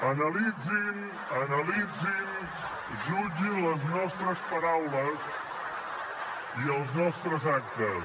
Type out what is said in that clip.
analitzin analitzin jutgin les nostres paraules i els nostres actes